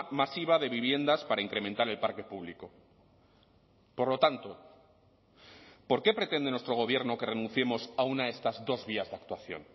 masiva de viviendas para incrementar el parque público por lo tanto por qué pretende nuestro gobierno que renunciemos a una de estas dos vías de actuación